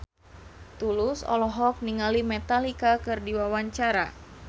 Tulus olohok ningali Metallica keur diwawancara